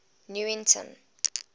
newington